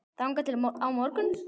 þangað til á morgun?